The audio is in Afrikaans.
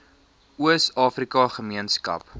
oos afrika gemeenskap